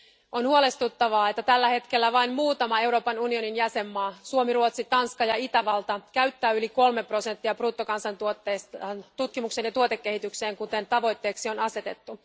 On huolestuttavaa, että tällä hetkellä vain muutama Euroopan unionin jäsenmaa Suomi, Ruotsi, Tanska ja Itävalta käyttää yli kolme prosenttia bruttokansantuotteestaan tutkimukseen ja tuotekehitykseen, kuten tavoitteeksi on asetettu.